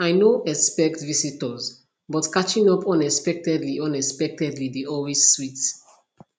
i no expect visitors but catching up unexpectedly unexpectedly dey always sweet